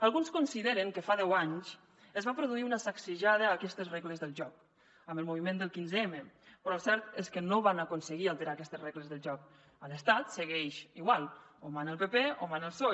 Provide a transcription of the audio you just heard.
alguns consideren que fa deu anys es va produir una sacsejada a aquestes regles del joc amb el moviment del quinze m però el cert és que no van aconseguir alterar aquestes regles del joc a l’estat segueix igual o mana el pp o mana el psoe